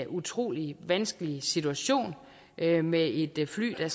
utrolig vanskelig situation med med et fly der